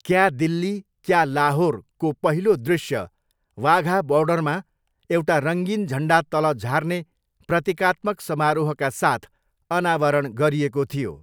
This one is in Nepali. क्या दिल्ली क्या लाहोरको पहिलो दृश्य वाघा बोर्डरमा एउटा रङ्गीन झन्डा तल झार्ने प्रतीकात्मक समारोहका साथ अनावरण गरिएको थियो।